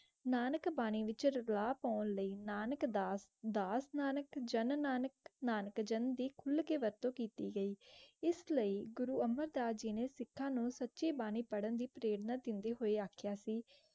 नानक बानी विशाल दुआ पोर लाये नानक दस् दस् नानक जनन नानक नानक जांदीप खुल के ृत्त केटी गए इस्लिये गुरो अमर दस् जी ने सीखा न कही बानी पहरण दी प्रेरणा देंदेया होनेया ाखेया सी.